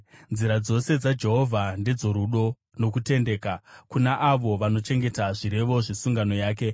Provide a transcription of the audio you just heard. Nzira dzose dzaJehovha ndedzorudo nokutendeka, kuna avo vanochengeta zvirevo zvesungano yake.